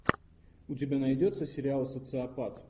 у тебя найдется сериал социопат